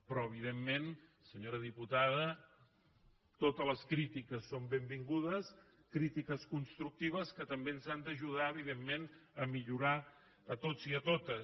però evidentment senyora diputada totes les crítiques són benvingudes crítiques constructives que també ens han d’ajudar a millorar a tots i a totes